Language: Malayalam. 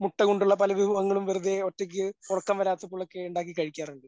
മുട്ട കൊണ്ടുള്ള പല വിഭവങ്ങളും വെറുതെ ഒറ്റയ്ക്ക് ഉറക്കം വരാത്തപ്പോളൊക്കെ ഉണ്ടാക്കി കഴിക്കാറുണ്ട്.